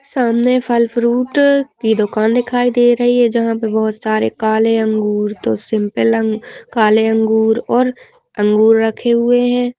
सामने फल-फ्रूट की दुकान दिखाई दे रही है जहाँ पे बहौत सारे काले अंगूर तो सिंपल अंग काले अंगूर और अंगूर रखे हुए हैं।